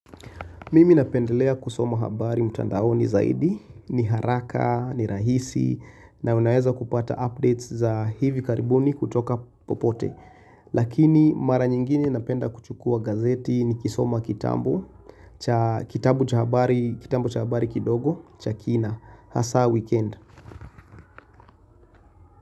Mimi napendelea kusoma habari mtandaoni zaidi, ni haraka, ni rahisi, na unaweza kupata updates za hivi karibuni kutoka popote. Lakini mara nyingine napenda kuchukua gazeti ni kisoma kitabu, kitabu cha habari kidogo, cha kina, hasa weekend.